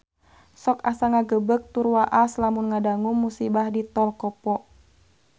Sok asa ngagebeg tur waas lamun ngadangu musibah di Tol Kopo